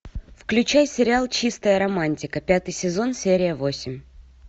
включай сериал чистая романтика пятый сезон серия восемь